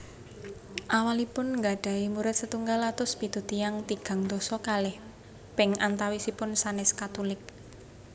Awalipun nggadhahi murid setunggal atus pitu tiyang tigang dasa kalih ping antawisipun sanès Katulik